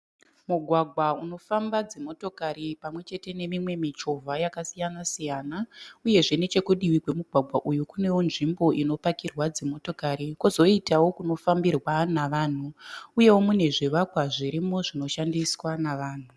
Mugwagwa unofamba dzimotokari pamwe chete nemimwe michovha yakasiyana siyana. Uyezve nechekudivi kwemugwagwa uyu kunewo nzvimbo inopakirwa dzimotokari kozoitawo kunofambirwa nevanhu uyewo mune zvivakwa zvirimo zvinoshandiswa navanhu